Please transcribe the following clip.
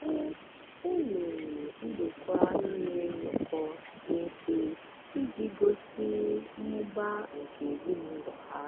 e e mere ndokwa inwe nnọkọ dị mfe iji gosi mmụba nke ezinụlọ ha.